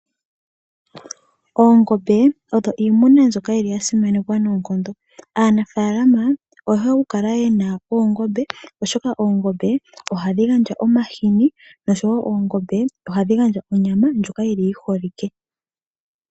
Oongombe odho iimuna mbyoka yi li ya simanekwa noonkondo. Aanafaalama oye hole okukala ye na oongombe, oshoka oongombe ohadhi gandja omahini, nosho wo oongombe ohadhi gandja onyama ndjoka yi li yi holike.